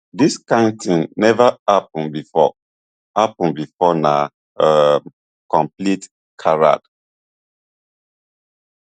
dis kind tin neva happun bifor happun bifor na um complete charade